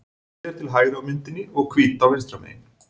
Sogið er til hægri á myndinni og Hvítá vinstra megin.